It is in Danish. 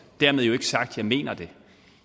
dermed jo ikke sagt at jeg mener det